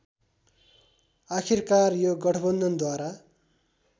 आखिरकार यो गठबन्धनद्वारा